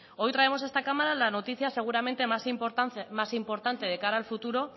hoy traemos a esta cámara la noticia seguramente más importante de cara al futuro